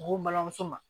Ko balimamuso ma